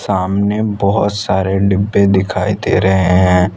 सामने बहोत सारे डिब्बे दिखाई दे रहे हैं।